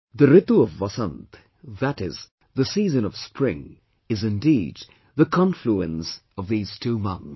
The Ritu of Vasant, that is, the season of spring is indeed the confluence of these two months